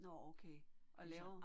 Nåh okay og laver